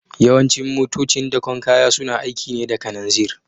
Yawancin motocin dakon kaya suna aiki ne da kananzir